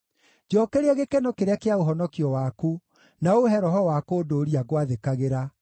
Njookeria gĩkeno kĩrĩa kĩa ũhonokio waku, na ũũhe roho wa kũndũũria ngwathĩkagĩra.